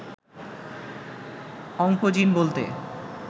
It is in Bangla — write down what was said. অংকোজিন বলতে